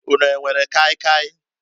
Ụnu e nwere kai kai?